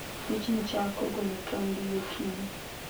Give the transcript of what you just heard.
Pichni chako golo tong'gi gokinyi.